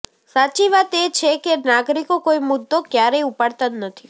સાચી વાત એ છે કે નાગરિકો કોઈ મુદ્દો ક્યારેય ઉપાડતાં જ નથી